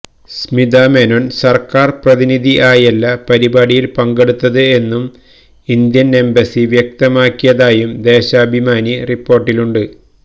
സ്മിതാ മേനോന് സര്ക്കാര് പ്രതിനിധി ആയല്ല പരിപാടിയില് പങ്കെടുത്തത് എന്നു ഇന്ത്യന് എംബസി വ്യക്തമാക്കിയതായും ദേശാഭിമാനി റിപ്പോര്ട്ടിലുണ്ട്